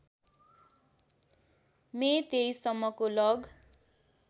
मे २३ सम्मको लग